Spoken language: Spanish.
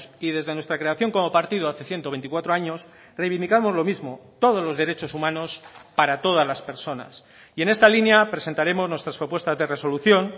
y desde nuestra creación como partido hace ciento veinticuatro años reivindicamos lo mismo todos los derechos humanos para todas las personas y en esta línea presentaremos nuestras propuestas de resolución